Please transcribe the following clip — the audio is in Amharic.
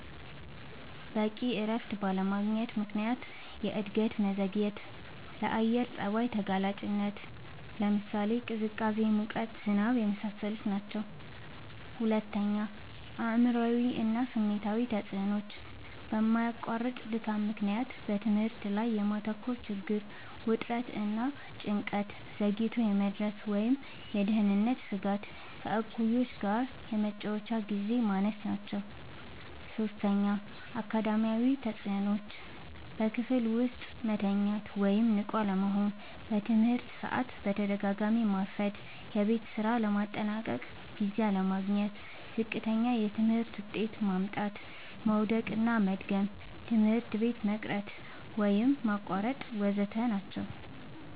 በቂ እረፍት ባለማግኘት ምክንያት የእድገት መዘግየትና፣ ለአየር ጸባይ ተጋላጭነት (ቅዝቃዜ፣ ሙቀት፣ ዝናብ) የመሳሰሉት ናቸዉ። ፪. አእምሯዊ እና ስሜታዊ ተጽዕኖዎች፦ በማያቋርጥ ድካም ምክንያት በትምህርት ላይ የማተኮር ችግር፣ ውጥረት እና ጭንቀት፣ ዘግይቶ የመድረስ ወይም የደህንነት ስጋት፣ ከእኩዮች ጋር የመጫወቻ ግዜ ማነስ ናቸዉ። ፫. አካዳሚያዊ ተጽዕኖዎች፦ · በክፍል ውስጥ መተኛት ወይም ንቁ አለመሆን፣ በትምህርት ሰዓት በተደጋጋሚ ማርፈድ፣ የቤት ስራ ለማጠናቀቅ ጊዜ አለማግኘት፣ ዝቅተኛ የትምህርት ውጤት ማምጣት፣ መዉደቅና መድገም፣ ትምህርት ቤት መቅረት ወይም ማቋረጥ ወ.ዘ.ተ ናቸዉ።